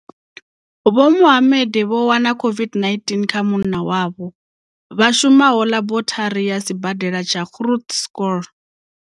Vho Mohammed vho wana COVID-19 kha munna wavho, vha shumaho laborithari ya Sibadela tsha Groote Schuur.